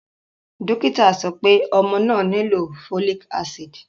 Dokita sọ pe ọmọ naa nilo folic acid